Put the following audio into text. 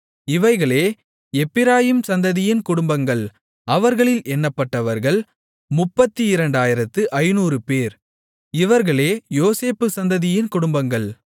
இவைகளே எப்பிராயீம் சந்ததியின் குடும்பங்கள் அவர்களில் எண்ணப்பட்டவர்கள் 32500 பேர் இவர்களே யோசேப்பு சந்ததியின் குடும்பங்கள்